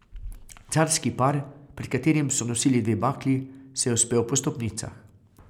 Carski par, pred katerim so nosili dve bakli, se je vzpel po stopnicah.